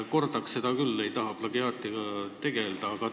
Kordaks seda, kuigi ei tahaks plagiaadiga tegelda.